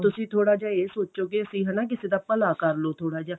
ਤੇ ਤੁਸੀਂ ਥੋੜਾ ਜਾ ਇਹ ਸੋਚੋ ਕੀ ਅਸੀਂ ਹਨਾ ਕਿਸੇ ਦਾ ਭਲਾ ਕਰਲੋ ਥੋੜਾ ਜਾ